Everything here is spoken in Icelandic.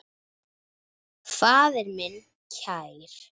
Faðir minn kær.